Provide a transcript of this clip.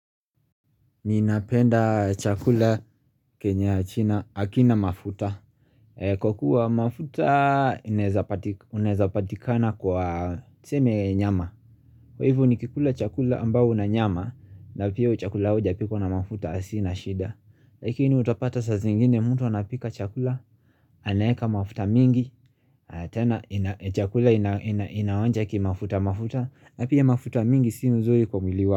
Ni inapenda chakula kenya china akina mafuta. Kwa kuwa mafuta unezapatikana kwa tseme nyama. Kwa hivu ni kikula chakula ambao unanyama na pia uchakula huja piko na mafuta asina shida. Lakini utapata saa zingine mtu wanapika chakula. Anaeka mafuta mingi. Tena chakula inawanja ki mafuta mafuta. Napia mafuta mingi si mzuri kwa mwili wako.